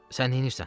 Sən neynirsən?